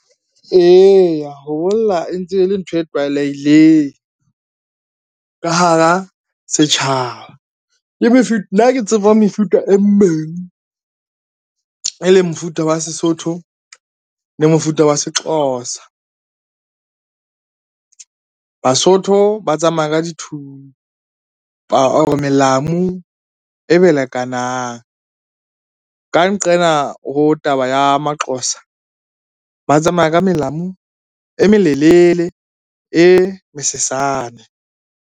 Eya, ho bolla e ntse e le ntho e tlwaelehileng ka hara setjhaba. Nna ke tseba mefuta e mmedi, e leng mofuta wa Sesotho le mofuta wa Sexhosa. Basotho ba tsamaya ka dithupa or melamu e belekanang. Ka nqena ho taba ya Maxhosa ba tsamaya ka melamu e melelele, e mesesane.